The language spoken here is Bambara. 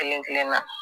Kelen kelen na